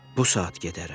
Bu saat gedərəm.